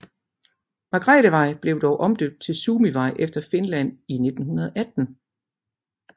Margrethevej blev dog omdøbt til Suomivej efter Finland i 1918